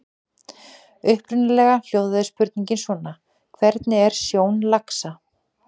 Upprunalega hljóðaði spurningin svona: Hvernig er sjón laxa?